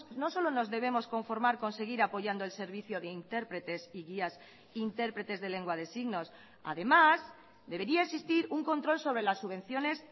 no solo nos debemos conformar con seguir apoyando el servicio de intérpretes y guías interpretes de lengua de signos además debería existir un control sobre las subvenciones